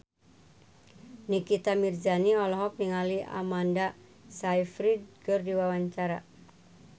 Nikita Mirzani olohok ningali Amanda Sayfried keur diwawancara